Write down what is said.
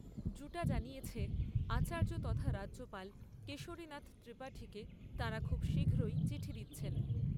জানিয়েছে, আচার্য তথা রাজ্যপাল কেশরী নাথ ত্রিপাঠীকে তাঁরা খুব শীঘ্রই চিঠি দিচ্ছেন।